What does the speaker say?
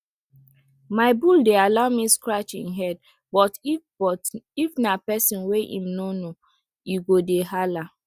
my bull dey allow me scratch em head but if but if na pesin wey em no know e go dey hala